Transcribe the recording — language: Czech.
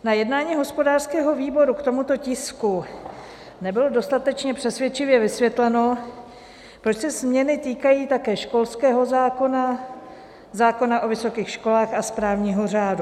Na jednání hospodářského výboru k tomuto tisku nebylo dostatečně přesvědčivě vysvětleno, proč se změny týkají také školského zákona, zákona o vysokých školách a správního řádu.